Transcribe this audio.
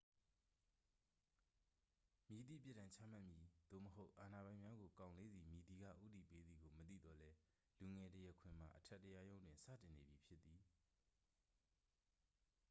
မည်သည့် ပြစ်ဒဏ်ချမှတ်မည် သို့မဟုတ် အာဏာပိုင်များကို ကောင်လေးဆီ မည်သည်က ဦးတည်ပေးသည်ကို မသိသော်လည်း လူငယ် တရားခွင်မှာ အထက်တရားရုံးတွင် စတင်နေပြီဖြစ်သည်